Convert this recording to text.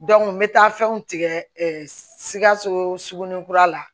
n bɛ taa fɛnw tigɛ sikaso sugunin kura la